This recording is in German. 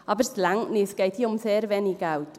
Aber es reicht nicht, es geht hier um sehr wenig Geld.